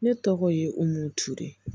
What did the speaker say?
Ne tɔgɔ ye u m'u ture